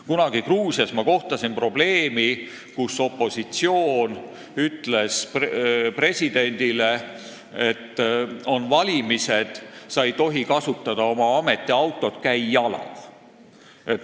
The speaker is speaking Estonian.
Kunagi Gruusias ma kohtasin sellist probleemi: opositsioon ütles presidendile, et kuna on valimised, siis sa ei tohi kasutada oma ametiautot, käi jala.